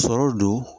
Sɔrɔ don